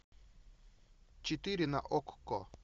четыре на окко